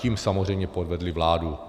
Tím samozřejmě podvedli vládu.